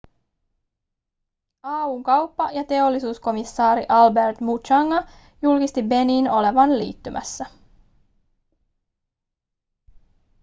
au:n kauppa- ja teollisuuskomissaari albert muchanga julkisti beninin olevan liittymässä